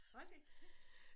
Hold da kæft